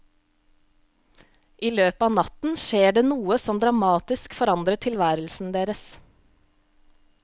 I løpet av natten skjer det noe som dramatisk forandrer tilværelsen deres.